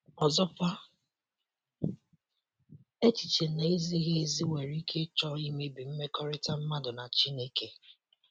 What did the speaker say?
Ọzọkwa, echiche na - ezighị ezi nwere ike ịchọ imebi mmekọrịta mmadụ na Chineke..